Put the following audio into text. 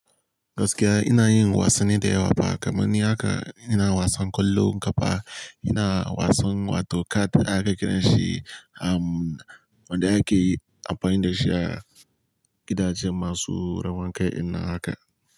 Gaskiya ina yin wasanni da yawa fa kamani haka ina wasan kwallon kafa, ina wasan wato card aka kira shi, a wanda ake amfani da shi a gidaje masu rawan kai dinnan haka.